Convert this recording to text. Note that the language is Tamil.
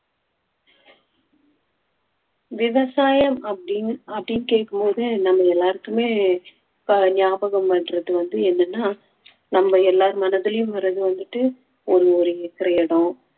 விவசாயம் அப்படீன்னு அப்படீன்னு கேக்கும் போது நம்ம எல்லாருக்குமே ப~ ஞாபகம் வர்றது வந்து என்னன்னா நம்ம எல்லார் மனதிலும் வர்றது வந்துட்டு ஒரு ஒரு acre இடம்